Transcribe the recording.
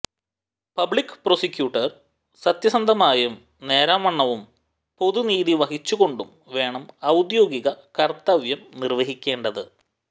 public prosecutor സത്യസന്ധമായും നേരാം വണ്ണവും പൊതു നീതി വഹിച്ചുകൊണ്ടും വേണം ഔദ്യോഗിക കർത്തവ്യം നിർവ്വഹിക്കേണ്ടത്